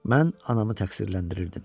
Mən anamı təqsirləndirirdim.